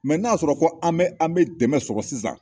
n'a y'a sɔrɔ ko an bɛ an bɛ dɛmɛ sɔrɔ sisan